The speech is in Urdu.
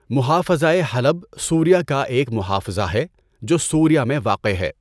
مُحافَظَۂ حلب سوریہ کا ایک محافظہ ہے جو سوریہ میں واقع ہے۔